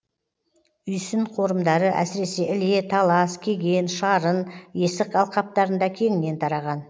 үйсін қорымдары әсіресе іле талас кеген шарын есік алқаптарында кеңінен тараған